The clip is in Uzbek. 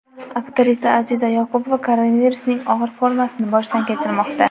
Aktrisa Aziza Yoqubova koronavirusning og‘ir formasini boshdan kechirmoqda.